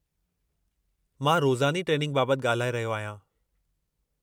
मां रोज़ानी ट्रेनिंग बाबति ॻाल्हाए रहियो आहियां.